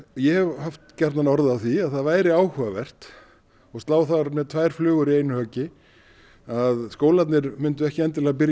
ég hef haft gjarnan orð á því að það væri áhugavert og slá þar með tvær flugur í einu höggi að skólarnir mundu ekki endilega byrja